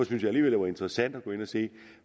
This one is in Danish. jeg alligevel det var interessant at gå ind og se